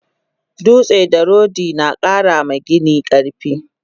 Dutse da rodi nakara ma gini karfi